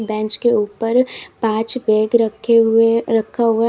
bench के ऊपर पांच बैग रखे हुए रखा हुआ--